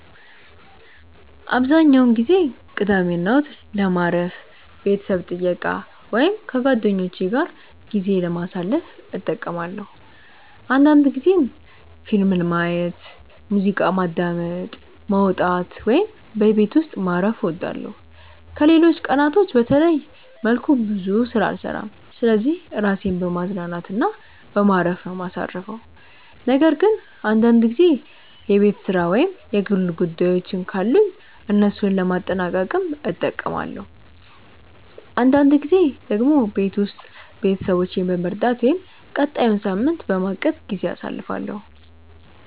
አብዛኛውን ጊዜ ቅዳሜና እሁድን ለማረፍ፣ ቤተሰብ ጥየቃ ወይም ከጓደኞቼ ጋር ጊዜ ለማሳለፍ እጠቀማለሁ አንዳንድ ጊዜም ፊልም ማየት፣ ሙዚቃ ማዳመጥ፣ መውጣት ወይም በቤት ውስጥ ማረፍ እወዳለሁ። ከሌሎች ቀናቶች በተለየ መልኩ ብዙ ስራ አልሰራም ስለዚህ ራሴን በማዝናናት እና በማረፍ ነው ማሳርፈው ነገር ግን አንዳንድ ጊዜ የቤት ስራ ወይም የግል ጉዳዮችን ካሉኝ እነሱን ለማጠናቀቅም እጠቀማለሁ። አንዳንድ ጊዜ ደግሞ ቤት ውስጥ ቤተሰቦቼን በመርዳት ወይም ቀጣዩን ሳምንት በማቀድ ጊዜ አሳልፋለሁ።